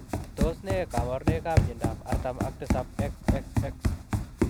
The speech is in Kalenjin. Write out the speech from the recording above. Tos nee kabarunoik ap miondoop artam ak tisaap XXX?